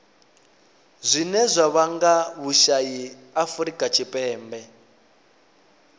zwine zwa vhanga vhusai afurika tshipembe